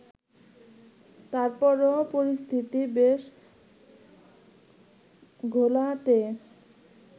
তারপরও পরিস্থিতি বেশ ঘোলাটে